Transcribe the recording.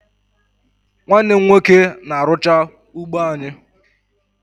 Nwanne m nwoke na-arụcha ugbo anyị